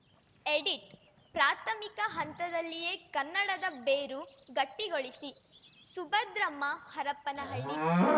edit ಪ್ರಾಥಮಿಕ ಹಂತದಲ್ಲಿಯೇ ಕನ್ನಡದ ಬೇರು ಗಟ್ಟಿಗೊಳಿಸಿ ಸುಭದ್ರಮ್ಮ ಹರಪನಹಳ್ಳಿ